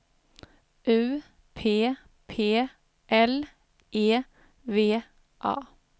U P P L E V A